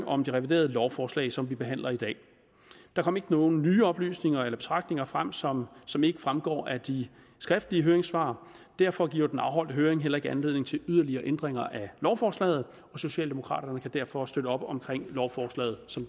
om de reviderede lovforslag som vi behandler i dag der kom ikke nogen nye oplysninger eller betragtninger frem som som ikke fremgår af de skriftlige høringssvar derfor giver den afholdte høring heller ikke anledning til yderligere ændringer af lovforslaget og socialdemokraterne kan derfor støtte op om lovforslaget som